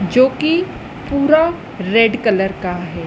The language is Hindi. जो कि पूरा रेड कलर का है।